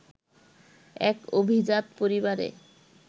এক অভিজাত পরিবারে